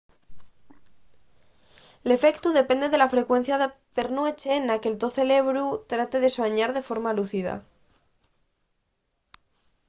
l’efectu depende de la frecuencia per nueche na que’l to cerebru trate de suañar de forma lúcida